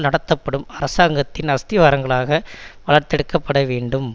நடத்தப்படும் அரசாங்கத்தின் அஸ்திவாரங்களாக வளர்த்தெடுக்கப்பட வேண்டும்